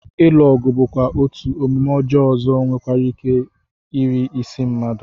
Ilu ọgụ bụkwa otú omume ọjọọ ọzọ nwereike iri isi mmadụ